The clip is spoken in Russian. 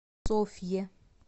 софье